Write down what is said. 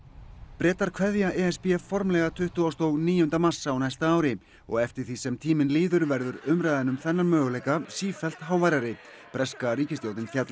Bretar kveðja e s b formlega tuttugasta og níunda mars á næsta ári og eftir því sem tíminn líður verður umræðan um þennan möguleika sífellt háværari breska ríkisstjórnin fjallaði